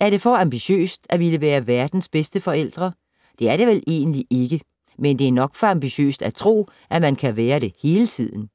Er det for ambitiøst at ville være verdens bedste forældre? Det er det vel egentlig ikke, men det er nok for ambitiøst at tro, at man kan være det hele tiden.